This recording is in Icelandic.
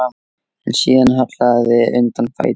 En síðan hallaði undan fæti.